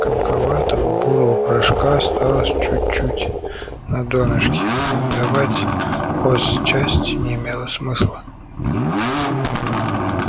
комковатого бурого порошка осталось чуть-чуть на донышке сдавать в хозчасть не имело смысла